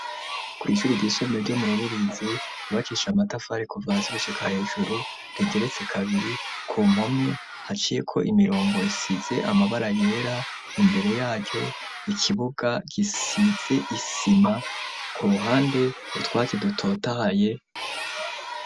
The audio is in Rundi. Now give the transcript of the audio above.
Kwishuri ryisumbuye ryo mu rubirizi ribakishe amatafari kuva hasi gushika hejuru rigeretse kabiri ku mpome haciye ko imirongo isize amabara yera imbere yaryo ikibuga gisize isima ku ruhande utwatse dutotahaye.